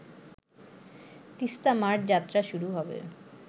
Teesta march যাত্রা শুরু হবে